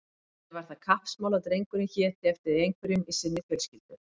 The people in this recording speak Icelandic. Henni var það kappsmál að drengurinn héti eftir einhverjum í sinni fjölskyldu.